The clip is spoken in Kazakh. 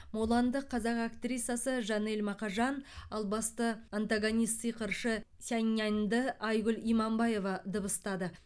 муланды қазақ актрисасы жанель мақажан ал басты антагонист сиқыршы сяньнянды айгүл иманбаева дыбыстады